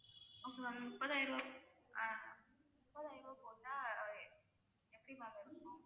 okay ma'am முப்பதாயிரம் ரூபாய் ஆஹ் முப்பதாயிரம் ரூபாய் போட்ட எப்படி ma'am